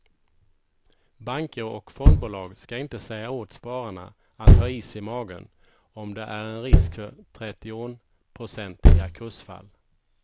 Banker och fondbolag ska inte säga åt spararna att ha is i magen om det är en risk för trettionprocentiga kursfall.